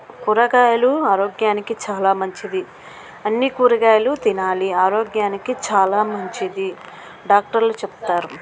సొరకాయలు ఆరోగ్యానికి చాలా మంచిది. అన్ని కూరగాయలు తినాలి. ఆరోగ్యానికి చాలా మంచిది డాక్టర్లు చెబుతారు.